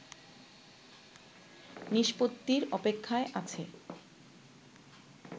নিষ্পত্তির অপেক্ষায় আছে